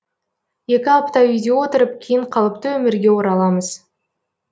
екі апта үйде отырып кейін қалыпты өмірге ораламыз